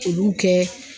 Olu kɛ